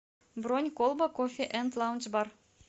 бронь колба кофе энд лаунж бар